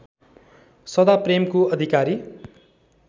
सदा प्रेमको अधिकारी